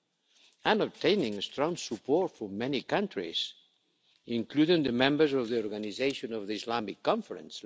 and is obtaining strong support from many countries, including the members of the Organization of the Islamic Conference.